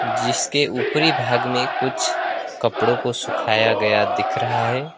जिसके ऊपरी भाग में कुछ कपड़ों को सुखाया गया दिख रहा है।